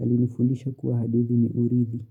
Alinifundisha kuwa hadithi ni urithi.